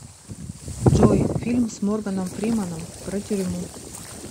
джой фильм с морганом фриманом про тюрьму